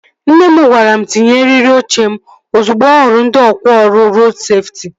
Nne m gwara m tinye eriri oche m ozugbo ọ hụrụ ndị ọkwá ọrụ rodu seftị